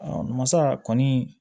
masa kɔni